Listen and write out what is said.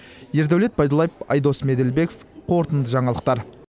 ердәулет байдуллаев айдос меделбеков қорытынды жаңалықтар